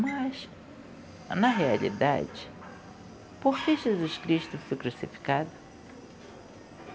Mas, na realidade, por que Jesus Cristo foi crucificado?